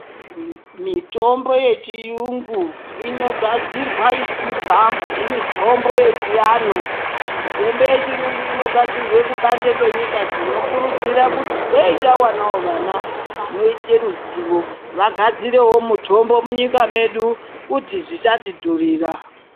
Mitombo yechiyungu inogadzirwa ichibva mumitombo yechiantu mitombo yechiyungu inogadzirwe kubanze kwenyika tinokurudzire kuti dei tawanawo vana vanoite ruzivo vagadzirewo mitombo munyika medu kuti zvisatidhurira.